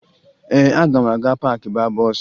Ee, aga m aga paakị baa bọọsụ